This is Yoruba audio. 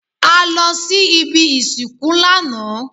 A lọ sí ibi ìsìnkú lánàá.